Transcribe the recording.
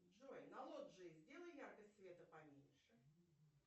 джой на лоджии сделай яркость света поменьше